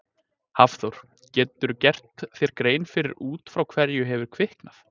Hafþór: Geturðu gert þér grein fyrir út frá hverju hefur kviknað?